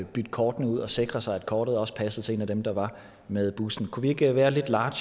bytte kortene ud og sikre sig at kortet også passede til en af dem der var med bussen kunne vi ikke være lidt large